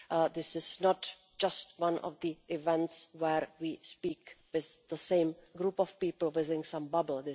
This is not just one of those events where we speak with the same group of people within some bubble.